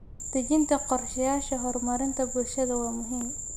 Dejinta qorshayaasha horumarinta bulshada waa muhiim.